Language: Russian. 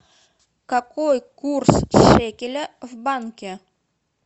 какой курс шекеля в банке